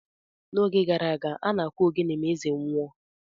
N’oge gara aga, a na-akụ ogene ma eze nwụọ.